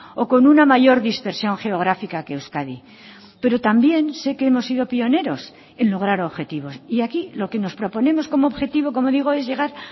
o con una mayor dispersión geográfica que euskadi pero también sé que hemos sido pioneros en lograr objetivos y aquí lo que nos proponemos como objetivo como digo es llegar